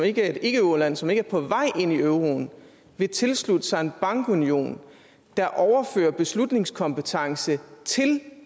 ikkeeuroland som ikke er på vej ind i euroen vil tilslutte sig en bankunion der overfører beslutningskompetence til